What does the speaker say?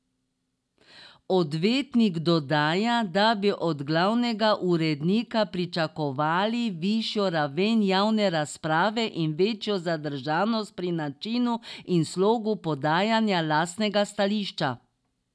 Odvetnik dodaja, da bi od glavnega urednika pričakovali višjo raven javne razprave in večjo zadržanost pri načinu in slogu podajanja lastnega stališča.